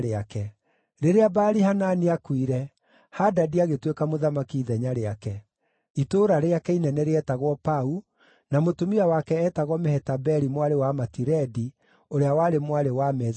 Rĩrĩa Baali-Hanani aakuire, Hadadi agĩtuĩka mũthamaki ithenya rĩake. Itũũra rĩake inene rĩetagwo Pau, na mũtumia wake eetagwo Mehetabeli mwarĩ wa Matiredi, ũrĩa warĩ mwarĩ wa Me-Zahabu.